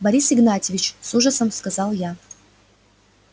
борис игнатьевич с ужасом сказал я